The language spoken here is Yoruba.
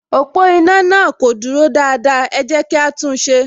Ọ̀pọ̀ iná náà kò dúró dáadáa, ẹ jẹ́ kí á tún un ṣe